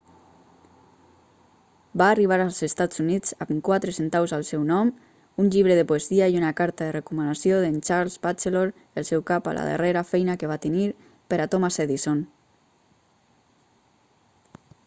va arribar als estats units amb quatre centaus al seu nom un llibre de poesia i una carta de recomanació d'en charles batchelor el seu cap a la darrera feina que va tenir per a thomas edison